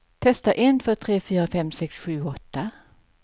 Testar en två tre fyra fem sex sju åtta.